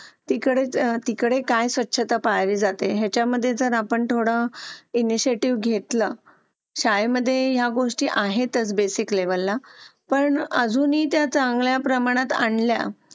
Late होतं सर्दी खोकला हा एक वाढलं आहे. एका मुलाला क्लास पूर्ण क्लास त्याच्यामध्ये वाहून निघत निघत असतो असं म्हणायला हरकत नाही. हो डेंग्यू, मलेरिया यासारखे आजार पण ना म्हणजे लसीकरण आहे. पूर्ण केले तर मला नाही वाटत आहे रोप असू शकतेपुडी लसीकरणाबाबत थोडं पालकांनी लक्ष दिलं पाहिजे की आपला मुलगा या वयात आलेला आहे. आता त्याच्या कोणत्या लसी राहिलेले आहेत का?